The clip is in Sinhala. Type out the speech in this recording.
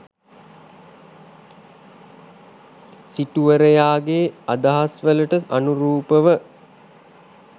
සිටුවරයාගේ අදහස්වලට අනුරූපව